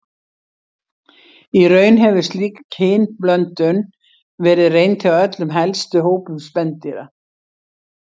Í raun hefur slík kynblöndun verið reynd hjá öllum helstu hópum spendýra.